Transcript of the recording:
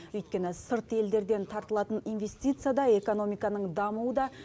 өйткені сырт елдерден тартылатын инвестиция да экономиканың дамуы да